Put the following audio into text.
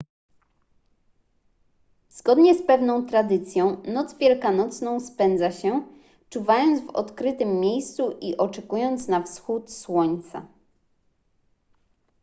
zgodnie z pewną tradycją noc wielkanocną spędza się czuwając w odkrytym miejscu i oczekując na wschód słońca